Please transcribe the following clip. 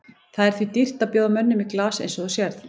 Það er því dýrt að bjóða mönnum í glas eins og þú sérð.